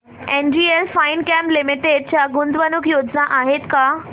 NGL Finechem limited च्या गुंतवणूक योजना आहेत का